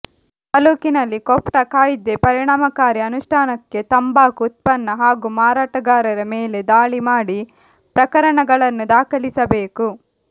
ತಾಲೂಕಿನಲ್ಲಿ ಕೋಟ್ಪಾ ಕಾಯ್ದೆ ಪರಿಣಾಮಕಾರಿ ಅನುಷ್ಠಾನಕ್ಕೆ ತಂಬಾಕು ಉತ್ಪನ್ನ ಹಾಗೂ ಮಾರಾಟಗಾರರ ಮೇಲೆ ದಾಳಿ ಮಾಡಿ ಪ್ರಕರಣಗಳನ್ನು ದಾಖಲಿಸಬೇಕು